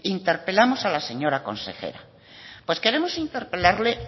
interpelamos a la señora consejera pues queremos interpelarle